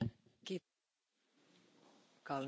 Frau Präsidentin, verehrte Kolleginnen und Kollegen!